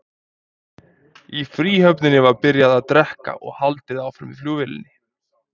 Í fríhöfninni var byrjað að drekka og haldið áfram í flugvélinni.